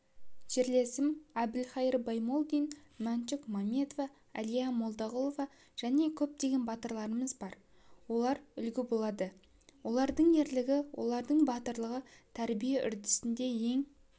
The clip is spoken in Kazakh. жерлесім әбілқайыр баймолдин мәншүк мәметова әлия молдағұлова және көптеген батырларымыз бар олар үлгі болады олардың ерлігі олардың батырлығы тәрбие үрдісінде ең